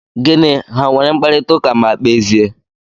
Gịnị! Ha nwere mkparita ụka ma kpezie?